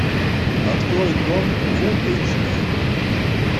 открой дом фулл эйч ди